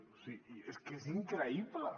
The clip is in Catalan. o sigui és que és increïble